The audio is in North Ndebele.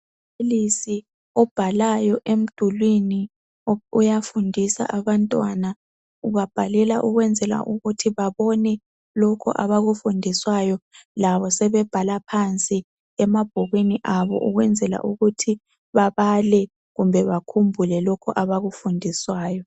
Umbalisi obhalayo emdulini uyafundisa abantwana ubabhalela ukwenzela ukuthi babone lokhu abakufundiswayo labo sebebhala phansi emabhukwini abo ukwenzela ukuthi babale kumbe bakhumbule lokhu abakufundiswayo.